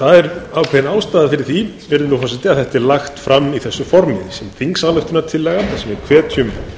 það er ákveðin ástæða fyrir því að þetta er lagt fram í þessu formi sem þingsályktunartillaga þar sem við hvetjum